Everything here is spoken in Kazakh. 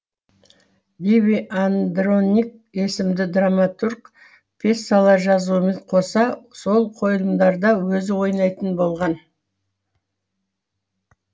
ливий андроник есімді драматург пьесалар жазуымен қоса сол қойылымдарда өзі ойнайтын болған